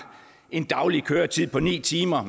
en daglig køretid på ni timer